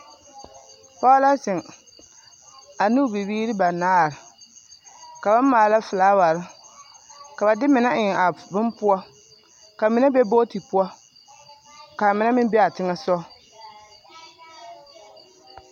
Pɔge la zeŋ a ne o bibiiri banaare ka ba maala filaaware ka ba de mine eŋ a bonne poɔ ka mine be bogti poɔ ka a mine meŋ be a teŋɛ soga.